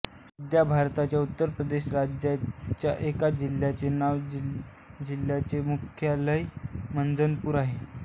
सध्या भारताच्या उत्तरप्रदेश राज्याच्या एका जिल्ह्याचे नाव जिल्ह्याचे मुख्यालय मंझनपूर आहे